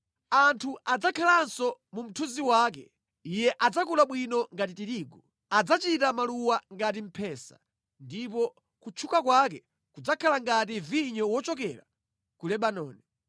Anthu adzakhalanso mu mthunzi wake. Iye adzakula bwino ngati tirigu. Adzachita maluwa ngati mphesa ndipo kutchuka kwake kudzakhala ngati vinyo wochokera ku Lebanoni.